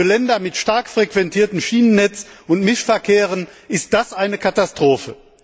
Für Länder mit stark frequentiertem Schienennetz und Mischverkehren ist das eine Katastrophe.